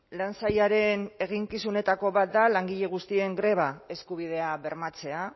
lan sailaren eginkizunetako bat da langile guztien greba eskubidea bermatzea